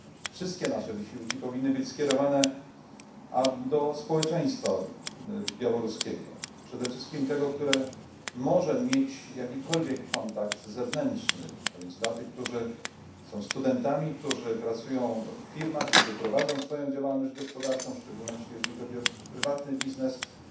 Wszystkie nasze wysiłki powinny być skierowane do społeczeństwa białoruskiego, przede wszystkim do tego, które może mieć jakiekolwiek kontakt zewnętrzny a więc do tych, którzy są studentami, którzy pracują w firmach, którzy prowadzą swoją działalność gospodarczą, a w szczególności jeśli chodzi o prywatnych przedsiębiorców,